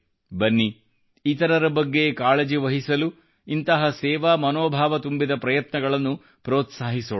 ಬನ್ನಿ ಇತರರ ಬಗ್ಗೆ ಕಾಳಜಿವಹಿಸಲು ಇಂತಹ ಸೇವಾ ಮನೋಭಾವ ತುಂಬಿದ ಪ್ರಯತ್ನಗಳನ್ನು ಪ್ರೋತ್ಸಾಹಿಸೋಣ